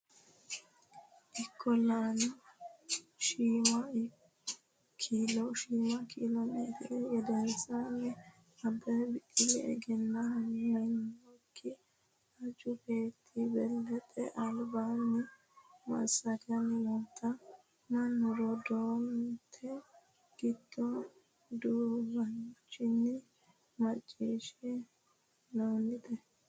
Ikkol lana, shiima kilo meetire gedensaanni Abbebe Biqilihu, egennaminokki aju beetti balaxe albaanni massaganni noota mannu raadoonete giddo duduwaanchinni macciishshi, neeti?